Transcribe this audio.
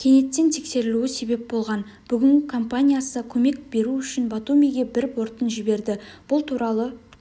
кенеттен тексерілуі себеп болған бүгін компаниясы көмек беру үшін батумиге бір бортын жіберді бұл туралы